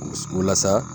Walasa